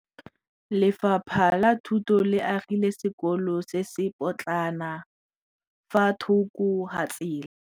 Lefapha la Thuto le agile sekôlô se se pôtlana fa thoko ga tsela.